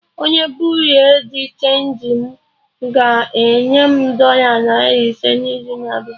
Onye Buriu di chenji m ga-enye m dọla narị ise n'izu na-abịa